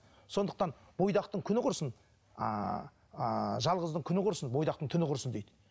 сондықтан бойдақтың күні құрысын ыыы жалғыздың күні құрысын бойдақтың түні құрысын дейді